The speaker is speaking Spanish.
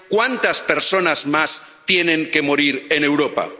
¿Cuántas personas más tienen que morir en Europa?